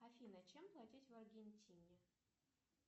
афина чем платить в аргентине